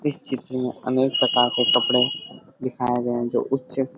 इस चित्र में अनेक प्रकार के कपड़े दिखाए गए है जो उच्च--